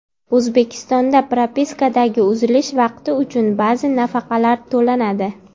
O‘zbekistonda propiskadagi uzilish vaqti uchun ba’zi nafaqalar to‘lanadi.